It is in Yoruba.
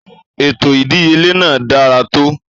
Ètò ìdíyelé náà dára tó.